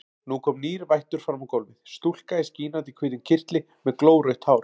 Nú kom nýr vættur fram á gólfið, stúlka í skínandi hvítum kyrtli með glórautt hár.